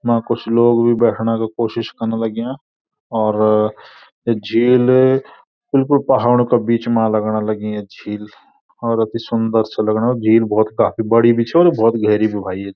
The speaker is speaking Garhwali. वां कुछ लोग भी बैठना का कोशिश कण लग्याँ और या झील बिलकुल पहाड़ों का बीच मा लगणा लगीं या झील और अतिसुन्दर सा लगणु झील भौत काफी बड़ी भी छ और भौत गहरी भी व्याही।